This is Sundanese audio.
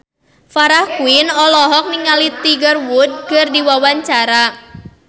Farah Quinn olohok ningali Tiger Wood keur diwawancara